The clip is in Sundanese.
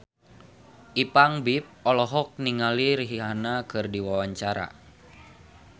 Ipank BIP olohok ningali Rihanna keur diwawancara